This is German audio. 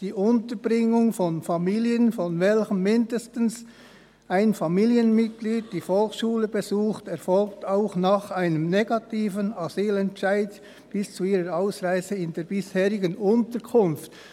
«Die Unterbringung von Familien, in welchen mindestens ein Familienmitglied die Volksschule besucht, erfolgt auch nach einem negativen Asylentscheid bis zu ihrer Ausreise in der bisherigen Unterkunft.».